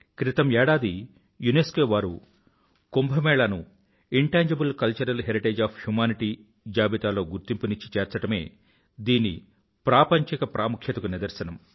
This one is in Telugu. క్రితం ఏడాది యునెస్కో వారు కుంభ మేళా ను intangible cultural heritage of humanity జాబితాలో గుర్తింపునిచ్చి చేర్చడమే దీని ప్రాపంచిక ప్రాముఖ్యతకు నిదర్శనం